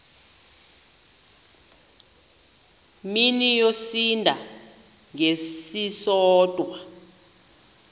mini yosinda ngesisodwa